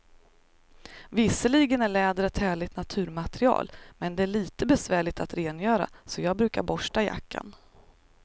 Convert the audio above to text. Visserligen är läder ett härligt naturmaterial, men det är lite besvärligt att rengöra, så jag brukar borsta jackan.